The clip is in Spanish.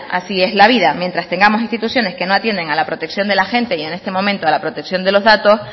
así es la vida mientras tengamos instituciones que no atienden a la protección de la gente y en este momento a la protección de los datos